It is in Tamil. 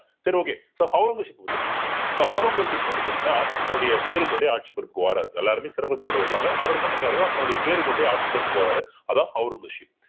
சரி okay so ஒளரங்கசீப் பத்தி பார்க்கலாம் so ஒளரங்கசீப் வந்து பார்த்தீங்கன்னா தன்னுடைய பேரு கொண்டே ஆட்சி பொறுப்புக்கு வாராரு எல்லாருமே சிறப்புத் பேரோடு வருவாங்க அவர் என்ன பண்றாருன்னா தன்னுடைய பேரு கொண்டே ஆட்சி பொறுப்புக்கு வர்றாரு அதான் ஒளரங்கசீப்